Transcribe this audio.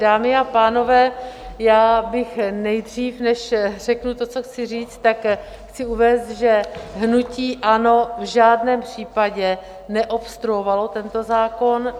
Dámy a pánové, já bych nejdřív, než řeknu to, co chci říct, tak chci uvést, že hnutí ANO v žádném případě neobstruovalo tento zákon.